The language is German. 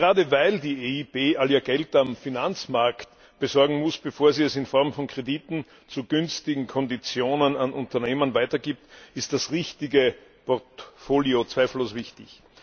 Und gerade weil die EIB all ihr Geld am Finanzmarkt besorgen muss, bevor sie es in Form von Krediten zu günstigen Konditionen an Unternehmen weitergibt, ist das richtige Portfolio zweifellos wichtig.